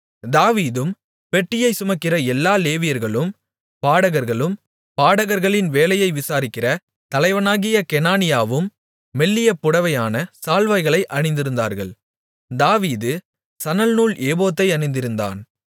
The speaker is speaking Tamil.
தாவீதும் பெட்டியை சுமக்கிற எல்லா லேவியர்களும் பாடகர்களும் பாடகர்களின் வேலையை விசாரிக்கிற தலைவனாகிய கெனானியாவும் மெல்லிய புடவையான சால்வைகளை அணிந்திருந்தார்கள் தாவீது சணல்நூல் ஏபோத்தை அணிந்திருந்தான்